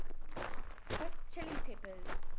hot chili peppers